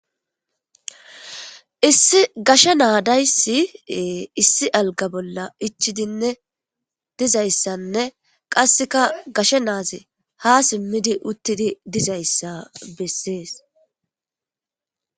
Issi gasha naadayssi issi alga bolla ichidinne dizayssanne qasseka gasha naaze ha simmidi uttidi dizayssa bessees.